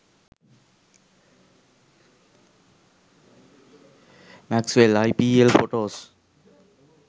maxwell ipl photos